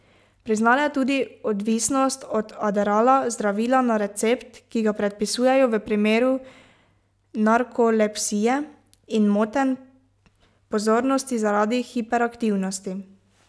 Priznala je tudi odvisnost od adderalla, zdravila na recept, ki ga predpisujejo v primeru narkolepsije in motenj pozornosti zaradi hiperaktivnosti.